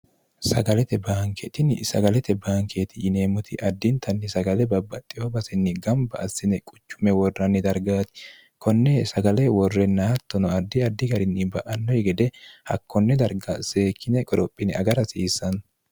sagalete baankeetinni sagalete baankeeti yineemmoti addintanni sagale babbaxxiho basinni gamba assine quchumme worranni dargaati konne sagale worrennaattono addi addi garinni ba'annohi gede hakkonne darga seekkine qorophine agar hasiissanno